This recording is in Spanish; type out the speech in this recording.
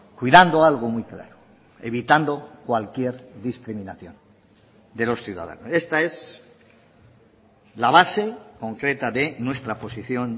cuidando algo muy claro evitando cualquier discriminación de los ciudadanos esta es la base concreta de nuestra posición